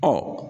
Ɔ